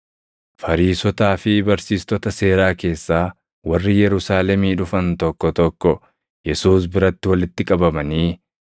Fariisotaa fi barsiistota seeraa keessaa warri Yerusaalemii dhufan tokko tokko Yesuus biratti walitti qabamanii